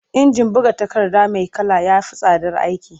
Injin buga takarda mai kala ya fi tsadar aiki.